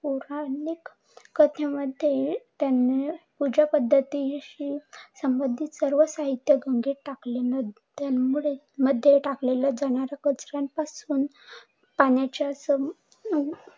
मध्ये त्यांनी पूजा पद्धातिशी सर्व साहित्य गंगेत टाकले. त्यापासून पाण्याच्या